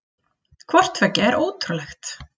Hvort tveggja er ótrúlegt.